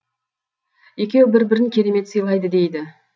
екеуі бір бірін керемет сыйлайды дейді